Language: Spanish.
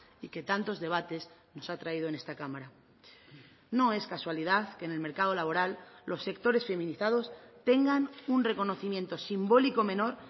y que tantos debates nos ha traído en esta cámara no es casualidad que en el mercado laboral los sectores feminizados tengan un reconocimiento simbólico menor